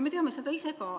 Me teame seda ise ka.